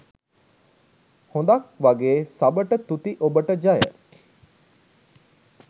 හොද ක් වගෙ සබට තුති ඔබට ජය.